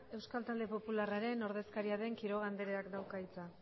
euskal talde popularraren ordezkaria den quiroga andreak dauka hitza